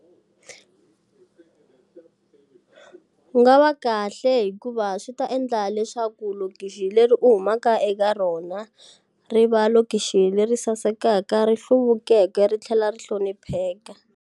Ku nga va kahle hikuva swi ta endla leswaku lokixi leri u humaka eka rona, ri va lokixi leri sasekaka, ri hluvukeke, ri tlhela ri hlonipheka.